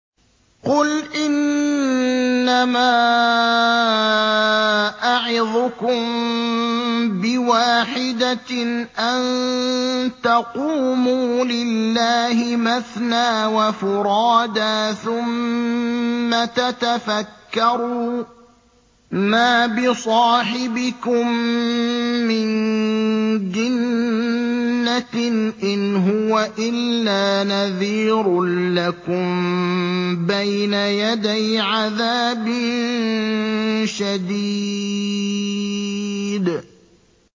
۞ قُلْ إِنَّمَا أَعِظُكُم بِوَاحِدَةٍ ۖ أَن تَقُومُوا لِلَّهِ مَثْنَىٰ وَفُرَادَىٰ ثُمَّ تَتَفَكَّرُوا ۚ مَا بِصَاحِبِكُم مِّن جِنَّةٍ ۚ إِنْ هُوَ إِلَّا نَذِيرٌ لَّكُم بَيْنَ يَدَيْ عَذَابٍ شَدِيدٍ